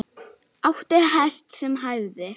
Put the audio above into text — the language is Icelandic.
Átti hest sem hæfði.